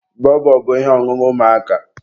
bọbọ bụ ihe ọṅụṅụ ụmụaka.